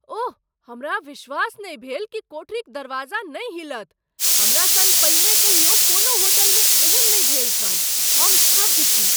ओह, हमरा विश्वास नहि भेल कि कोठरीक दरवाजा नहि हिलत! हमरा सङ्ग पहिने कहियो कोनो होटलमे एहन नहि भेल छल। हम स्तब्ध छी!